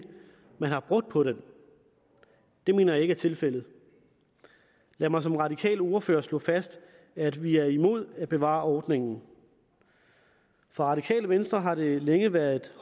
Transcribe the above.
man har brugt på den det mener jeg ikke er tilfældet lad mig som radikal ordfører slå fast at vi er imod at bevare ordningen for radikale venstre har det længe været